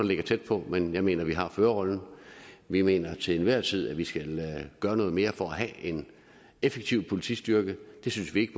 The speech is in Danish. ligger tæt på men jeg mener at vi har førerrollen vi mener til enhver tid at vi skal gøre noget mere for at have en effektiv politistyrke det synes vi ikke